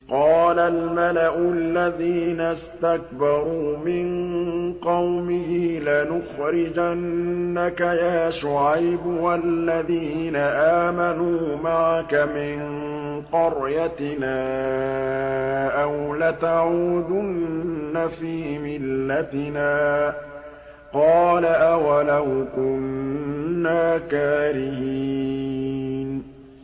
۞ قَالَ الْمَلَأُ الَّذِينَ اسْتَكْبَرُوا مِن قَوْمِهِ لَنُخْرِجَنَّكَ يَا شُعَيْبُ وَالَّذِينَ آمَنُوا مَعَكَ مِن قَرْيَتِنَا أَوْ لَتَعُودُنَّ فِي مِلَّتِنَا ۚ قَالَ أَوَلَوْ كُنَّا كَارِهِينَ